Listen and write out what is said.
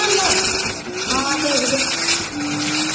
ਹਾਂ ਠੀਕ ਜੇ।